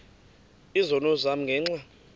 izono zam ngenxa